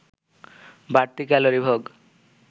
বাড়তি ক্যালোরি ভোগ